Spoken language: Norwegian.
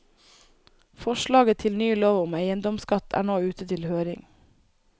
Forslaget til ny lov om eiendomsskatt er nå ute til høring.